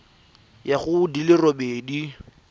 ya go di le robedi